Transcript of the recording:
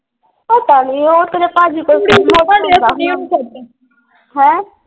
ਪਤਾ ਨਹੀਂ ਉਹ ਤੇਰੇ ਪਾਜੀ ਕੋਲ ਹੈਂ।